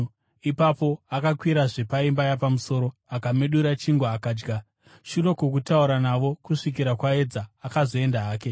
Ipapo akakwirazve paimba yapamusoro akamedura chingwa akadya. Shure kwokutaura navo kusvikira kwaedza, akazoenda hake.